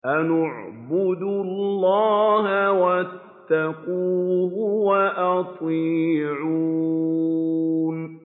أَنِ اعْبُدُوا اللَّهَ وَاتَّقُوهُ وَأَطِيعُونِ